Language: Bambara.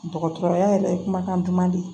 Dɔgɔtɔrɔya yɛrɛ ye kumakan duman de ye